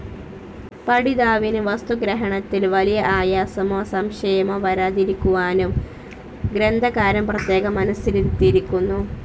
പഠിതാവിനു വസ്തുഗ്രഹണത്തിൽ വലിയ ആയാസമോ സംശയമോ വരാതിരിക്കുവാനും ഗ്രന്ഥകാരൻ പ്രത്യേകം മനസ്സിരുത്തിയിരിക്കുന്നു.